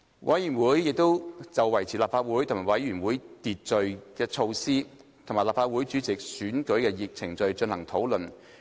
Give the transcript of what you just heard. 委員會亦就維持立法會和委員會會議秩序的措施，以及立法會主席選舉的程序，進行討論。